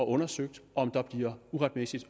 undersøgt om der uretmæssigt